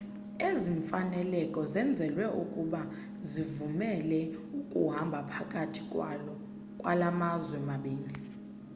ezi mfaneleko zenzelwe ukuze zivumele ukuhamba phakathi kwala mazwe mabini